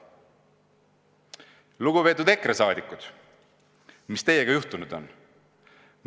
Lugupeetud EKRE liikmed, mis teiega juhtunud on?